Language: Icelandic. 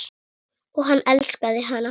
Og hann elskaði hana.